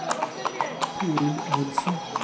Toril Nilssen